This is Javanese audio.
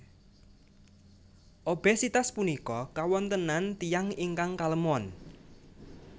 Obesitas punika kawontenan tiyang ingkang kalemon